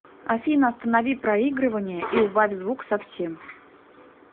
афина останови проигрывание и убавь звук совсем